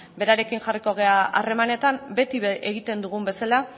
berarekin jarriko gera harremanetan beti egiten dugun bezala